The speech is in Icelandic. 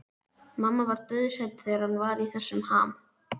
Mamma var dauðhrædd þegar hann var í þessum ham.